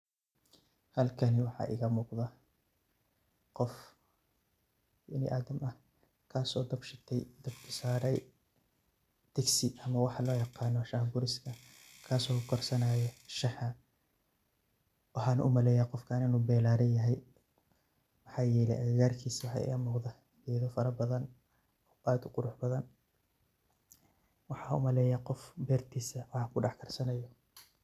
Halkani waxaa iga muqda qof bini asaham kasoo dab shite, dabka saare digso ama waxa loo yaqano Shah buriska kasso karsanayo shaha, waxan umaleeya qofkan inu beeraley yahay maxa yelaya agagarkiisa waxa iga muqda geeda fara badan oo aad uqurux badan waxan umaleyaa qof beertisa wax kudhax karsanayo